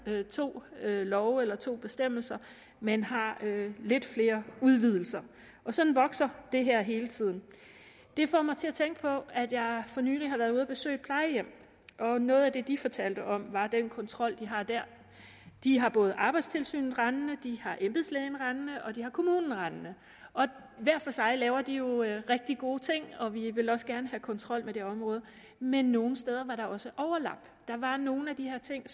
to love eller to bestemmelser men har lidt flere udvidelser og sådan vokser det her hele tiden det får mig til at tænke på at jeg for nylig har været ude at besøge et plejehjem og noget af det de fortalte om var den kontrol de har dér de har både arbejdstilsynet rendende de har embedslægen rendende og de har kommunen rendende hver for sig laver de jo rigtig gode ting og vi vil også gerne have kontrol med det område men nogle steder var der også overlap der var nogle af de her ting